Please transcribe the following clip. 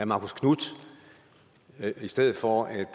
marcus knuth i stedet for